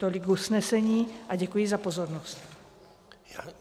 Tolik usnesení a děkuji za pozornost.